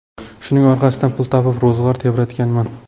Shuning orqasidan pul topib, ro‘zg‘or tebratganman.